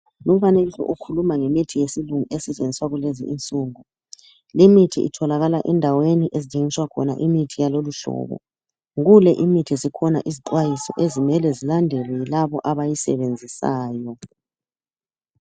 Umfanekiso ukhuluma ngemithi yesilungu esetshenziswa kulezi insuku. Limithi itholakala endaweni ezithengiswa khona imithi yaloluhlobo. Kule imithi zikhona izixwayiso ezimele zilandelwe yilabo abayisebenzisayo.